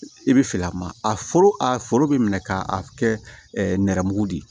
I bɛ fɛ a ma a foro a foro bɛ minɛ ka kɛ nɛrɛmugu de ye